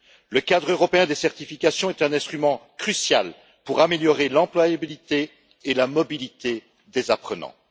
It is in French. Le cadre européen des certifications est un instrument crucial pour améliorer l'employabilité et la mobilité des apprenants.